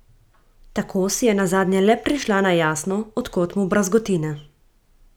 Tako si je nazadnje le prišla na jasno, od kod mu brazgotine.